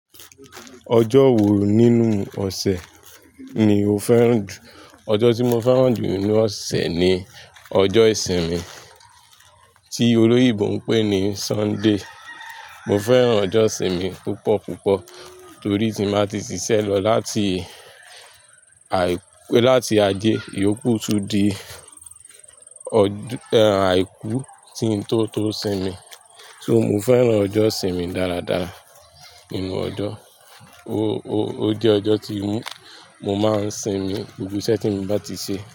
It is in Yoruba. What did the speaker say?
Ọjọ́ wo nínú ọ̀sẹ̀ ni o fẹ́ràn jù? Ọjọ́ tí mo fẹ́ràn jù nínú ọ̀sẹ̀ ni ọjọ́ ìsinmi tí olóyìnbó ń pè ní Sunday. Mo fẹ́ràn ọjọ́ ìsinmi púpọ̀ púpọ̀ torí ti n bá ti ṣiṣẹ́ lọ láti àì, láti ajé, ìyókù tún di ọdù-- ẹ́, àìkú tí n tó tó sinmi. So mo fẹ́ràn ọjọ́ ìsinmi dáradára nínú ọjọ́. O, o, o jẹ́ ọjọ́ tí mo máa ń sinmi gbogbo iṣẹ́ tí mo bá ti ṣe.